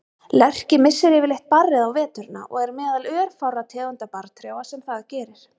Lerki missir yfirleitt barrið á veturna og er meðal örfárra tegunda barrtrjáa sem það gerir.